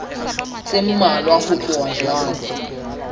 tse mmalwa ho tloha jwale